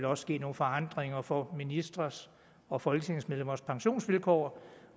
også ske nogle forandringer for ministres og folketingsmedlemmers pensionsvilkår